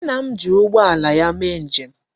Nna m ji ụgbọala ya mee nje m.